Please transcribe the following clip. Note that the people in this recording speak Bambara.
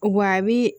Wa a bi